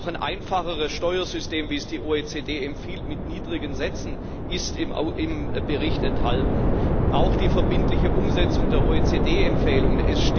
Auch ein einfacheres Steuersystem, wie es die OECD empfiehlt mit niedrigen Sätzen ist im Bericht enthalten, auch die verbindliche Umsetzung der OECD Empfehlungen.